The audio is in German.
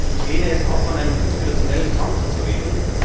Ich lehne es ab, von einem interinstitutionellen Kampf zu reden.